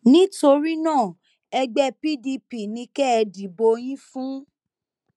nítorí náà ẹgbẹ pdp ni kẹ ẹ dìbò yín fún